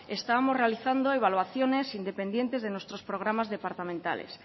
estábamos realizando evaluaciones independientes de nuestros programas departamentales